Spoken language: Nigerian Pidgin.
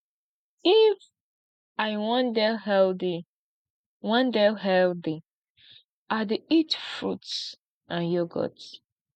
if i wan dey healthy wan dey healthy i dey eat fruits and yogurt